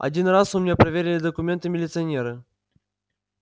один раз у меня проверили документы милиционеры